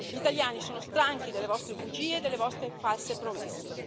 Gli italiani sono stanchi delle vostre bugie e delle vostre false promesse.